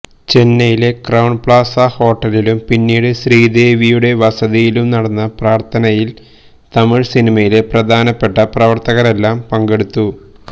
ചെന്നൈയിലെ Crowne Plaza ഹോട്ടലിലും പിന്നീട് ശ്രീദേവിയുടെ വസതിയിലും നടന്ന പ്രാര്ഥനയില് തമിഴ് സിനിമയിലെ പ്രധാനപ്പെട്ട പ്രവര്ത്തകരെല്ലാം പങ്കെടുത്തു